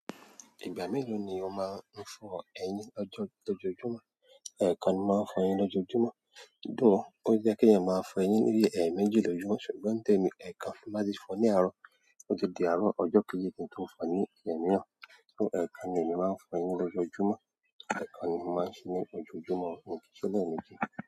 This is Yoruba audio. Ìgbà mélòó ni ó máa ń fọ eyín l lọ́joojumọ̀? Ẹ̀ẹ̀kan ni màá fọ eyín lojoojumọ̀. Though ó ye kí èèyàn máa fọ eyín ní bí i ẹ̀ẹ̀méjì lójúmọ́, ṣùgbọ́n ni tèmi ẹ̀ẹ̀kan, tin m ba ti fọ ní àárọ̀. Ó tun di àárọ̀ ọjọ́ kejì kí n tó fọ eyin imiran, so ẹ̀ẹ̀kan ni èmi máa ń fọ eyín lojoojumo. Ẹ̀ẹ̀kan ni mo máa ń ṣe ní ojoojúmọ́, un o kiiṣe lẹ́ẹ̀méjì.